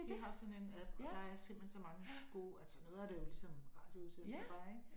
De har sådan en app og der er simpelthen så mange gode altså noget af det er jo ligesom radioudsendelser bare ik